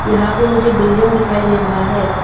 यहां पे मुझे बिल्डिंग दिखाई दे रहा है।